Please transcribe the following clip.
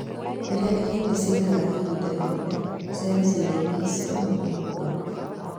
Rĩrĩa ĩhingi ciaikara ihinda inene, cero ciĩga-inĩ ico nĩ gukua